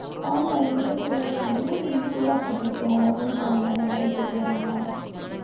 ஆமா, இனிமே தான் செய்யணும். வரும்போது செஞ்சு சூடா சாப்பிடட்டும். அவங்களும் பாவம்தானே, வேலைக்கு போயிட்டு வர்றாங்க.